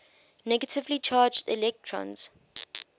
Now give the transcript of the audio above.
negatively charged electrons